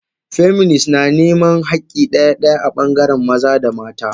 Feminist na niman hakki daya daya a bangaren maza da mata.